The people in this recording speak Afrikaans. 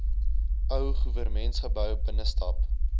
ou goewermentsgebou binnestap